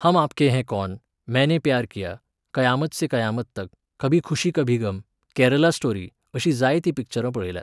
हम आपके हे कौन, मैंने प्यार किया, कयामत से कयामत तक, कभी खुशी कभी गम, केरला स्टोरी अशीं जायतीं पिक्चरां पळयल्यांत.